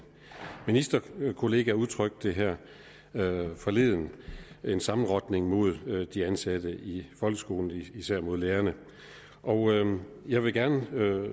ministerkollega udtrykte det her forleden en sammenrotning mod de ansatte i folkeskolen især mod lærerne jeg vil gerne